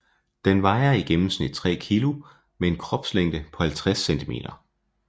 Den vejer i gennemsnit 3 kg med en kropslængde på 50 centimeter